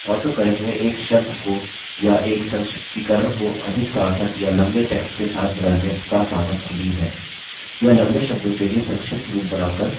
autocorrect में एक शब्द को या एक संक्षिप्तीकरण को अधिक सार्थक या लम्बे टेक्स्ट के साथ बदलने का सामर्थ्य भी है